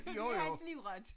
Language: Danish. Det hans livret!